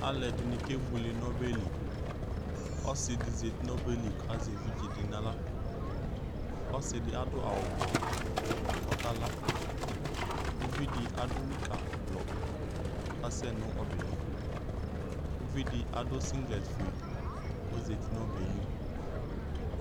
Alʋɛdɩnɩ̂ kebuele n'ɔbɛ li, ɔsɩdɩ zati n'ɔbeli kazɛ evidze dɩ n'aɣla, ɔsɩdɩ adʋ awʋblɔ kɔkala; uvidɩ adʋ nikablɔ kɔka sɛ n'ɔbɛɛ li uvidɩ adʋ siŋgrɛt k'ozati n'ɔbɛɛ li